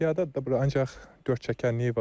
Piyadadır da bura, ancaq dörd çəkənliyi var.